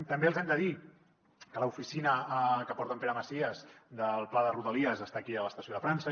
també els hem de dir que l’oficina que porta en pere macias del pla de rodalies està aquí a l’estació de frança